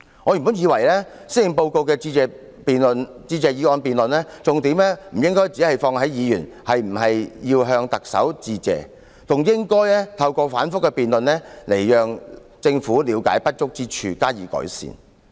我原本以為，施政報告的致謝議案辯論重點不應只放在議員是否要向特首致謝，還應該透過反覆的辯論讓政府了解不足之處，加以改善。